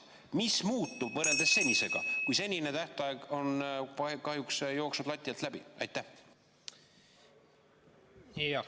Mis muutub võrreldes senisega, kui too tähtaeg on kahjuks möödas ja lati alt läbi joostud?